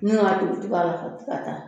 u ti ka taa